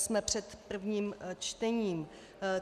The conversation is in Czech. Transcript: Jsme před prvním čtením.